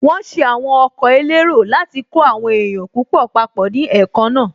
Wọ́n ṣe àwọn ọkọ̀ elérò láti kó àwọn èèyàn púpọ̀ papọ̀ ní èékánná